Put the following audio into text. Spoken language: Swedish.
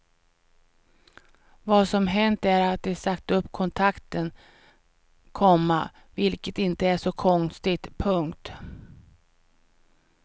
Vad som hänt är att de sagt upp kontrakten, komma vilket inte är så konstigt. punkt